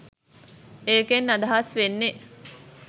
ඒකෙන් අදහස් වෙන්නෙ